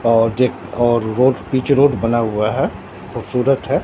और एक और रोड पिंच रोड बना हुआ है खूबसूरत है।